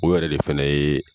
O yɛrɛ de fana ye.